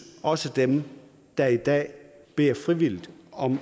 også dem der i dag er frivillige og